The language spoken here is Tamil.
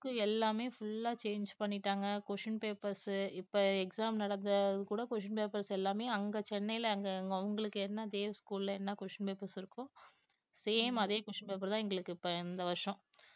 book எல்லாமே full ஆ change பண்ணிட்டாங்க question papers உ இப்ப exam நடந்தது கூட question papers எல்லாமே சென்னையில அவங்களுக்கு என்ன தேவ் ஸ்கூல்ல என்ன question papers இருக்கோ same அதே question paper தான் எங்களுக்கு இப்ப இந்த வருஷம்